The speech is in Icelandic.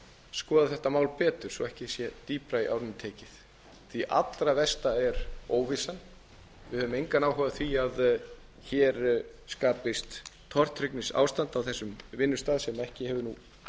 skoða þetta mál betur svo ekki sé dýpra í árinni tekið því að það allra versta er óvissan við höfum engan áhuga á því að hér skapist tortryggnisástand á þessum vinnustað sem ekki hefur nú